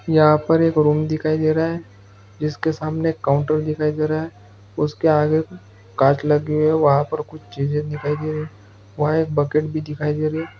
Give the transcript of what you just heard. यहाँ पर एक रूम दिखाई दे रहा है जिसके सामने काउन्टर दिखाई दे रहा है उसके आगे कांच लगी हुई है वहां पर कुछ चीजे दिखाई दे रही है वहाँ एक बकेट भी दिखाई दे रही है।